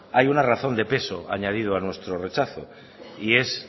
hay una razón de peso añadido a nuestro rechazo y es